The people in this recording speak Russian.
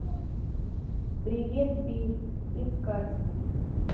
привет билл искать